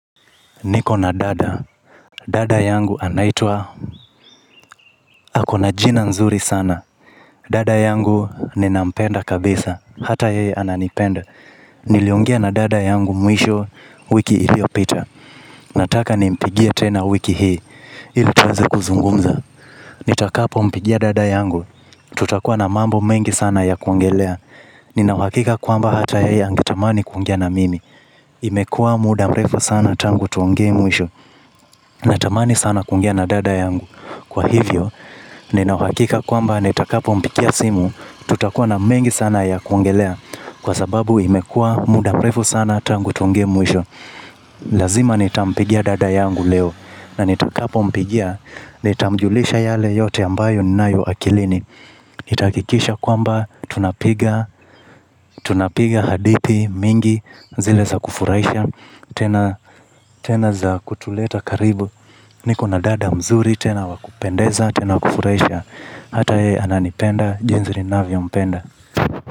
Nikona dada. Dada yangu anaitwa, akona jina nzuri sana. Dada yangu ninampenda kabisa, hata yeye ananipenda. Niliongea na dada yangu mwisho wiki iliyopita. Nataka nimpigie tena wiki hii, ili tuweze kuzungumza. Nitakapompigia dada yangu, tutakuwa na mambo mengi sana ya kuongelea. Ninauhakika kwamba hata yeye angetamani kuwa na mimi. Imekuwa muda mrefu sana tangu tuongee mwisho. Natamani sana kuongea na dada yangu. Kwa hivyo, ninauhakika kwamba nitakapompigia simu, tutakuwa na mengi sana ya kuongelea, kwa sababu imekuwa muda mrefu sana tangu tuonane mwisho. Lazima nitampigia dada yangu leo. Na nitakapompigia, nitamjulisha yale yote ambayo ninayo akilini. Nitahakikisha kwamba tunapiga hadithi nyingi, zile za kufurahisha tena za kutuleta karibu. Nikona dada mzuri, tena wa kupendeza, tena wa kufurahisha. Hata yeye ananipenda jinsi ninavyompenda.